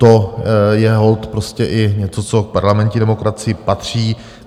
To je holt prostě i něco, co k parlamentní demokracii patří.